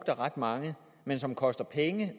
af ret mange men som koster penge